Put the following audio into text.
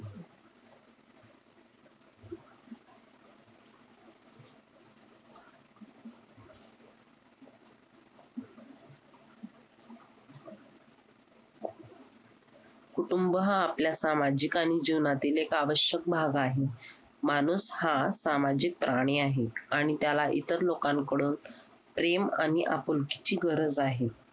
कुटुंब हा आपल्या सामाजिकां जीवनातील एक आवश्यक भाग आहे. माणूस हा सामाजिक प्राणी आहे आणि त्याला इतर लोकांकडून प्रेम आणि आपुलकीची गरज आहे.